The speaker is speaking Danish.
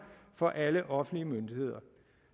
for alle offentlige myndigheder